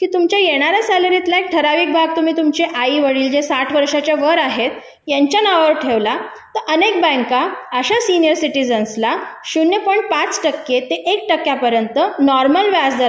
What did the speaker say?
की तुमच्या येणाऱ्या सॅलरीतला एक ठराविक भाग तुम्ही तुमच्या आई वडील जे साठ वर्षाच्या वर आहेत यांच्या नावावर ठेवला तर अनेक बँका अशा सिनिअर सिटीजनसला अर्धा टक्के ते एक टक्क्यापर्यंत नॉर्मल व्याजदराच्या